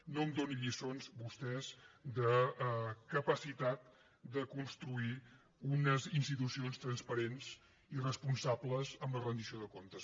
no em donin lliçons vostès de capacitat de construir unes institucions transparents i responsables amb la rendició de comptes